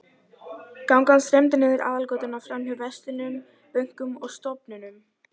Gangan streymdi niður aðalgötuna, framhjá verslunum, bönkum og stofnunum.